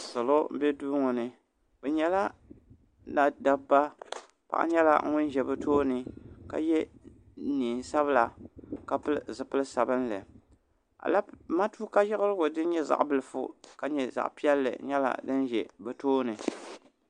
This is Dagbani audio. salo bɛ duu ŋo ni bi nyɛla dabba paɣa nyɛla ŋun ʒɛ bi tooni ka yɛ neen sabila ka pili zipili sabinli matuuka yiɣirigu din nyɛ zaɣ bilifu ka nyɛ zaɣ piɛlli nyɛla din ʒɛ bi tooni